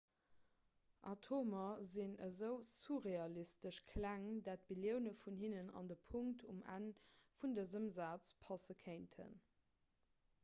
atomer sinn esou surrealistesch kleng datt billioune vun hinnen an de punkt um enn vun dësem saz passe kéinten